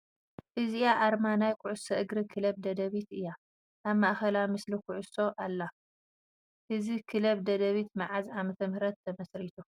እዚኣ ኣርማ ናይ ኩዕሶ እግሪ ክለብ ደደቢት እያ ፡ ኣብ ማእኸላ ምስሊ ኩዕሶ ኣላ ፡ እዚ ክለብ ደደቢት ብመዓዝ ዓ/ም ተመስሪቱ ?